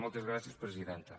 moltes gràcies presidenta